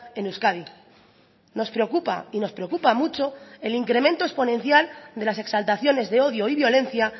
en euskadi nos preocupa y nos preocupa mucho el incremento exponencial de las exaltaciones de odio y violencia